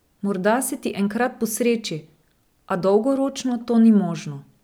Morda se ti enkrat posreči, a dolgoročno to ni možno.